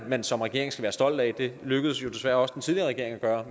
man som regering skal være stolt af det lykkedes desværre også den tidligere regering at gøre